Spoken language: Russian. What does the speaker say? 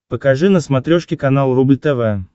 покажи на смотрешке канал рубль тв